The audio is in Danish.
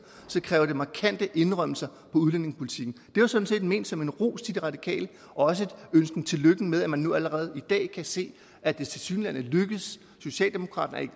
kræver det markante indrømmelser på udlændingepolitikken det var sådan set ment som en ros til de radikale og også en ønsken tillykke med at man nu allerede i dag kan se at det tilsyneladende er lykkedes socialdemokratiet